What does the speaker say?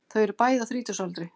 Þau eru bæði á þrítugsaldri